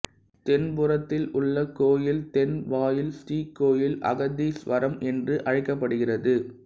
தென் புறத்தில் உள்ள கோயில் தென்வாயில் ஸ்ரீகோயில் அகத்தீசுவரம் என்று அழைக்கப்படுகிறது